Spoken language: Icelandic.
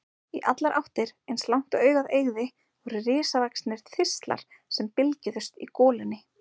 Í allar áttir, eins langt og augað eygði, voru risavaxnir þistlar sem bylgjuðust í golunni.